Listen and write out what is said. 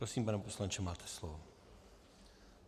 Prosím, pane poslanče, máte slovo.